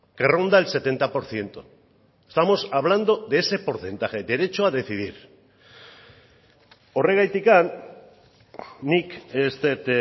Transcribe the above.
que ronda el setenta por ciento estamos hablando de ese porcentaje derecho a decidir horregatik nik ez dut